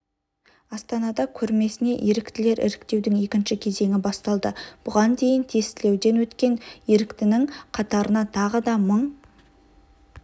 астанада көрмесіне еріктілер іріктеудің екінші кезеңі басталды бұған дейін тестілеуден өткен еріктінің қатарына тағы да мың